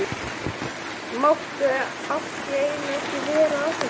Mátti allt í einu ekki vera að þessu lengur.